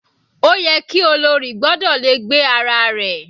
Ó yẹ ki olórí gbọ́dọ̀ le gbé ara rẹ̀.